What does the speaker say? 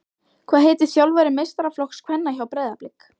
Hvað heitir þjálfari meistaraflokks kvenna hjá Breiðablik?